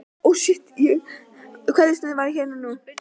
Kveðjustundin var þá hér og nú.